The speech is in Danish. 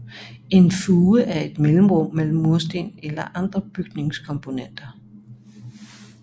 En fuge er et mellemrum mellem mursten eller andre bygningskomponenter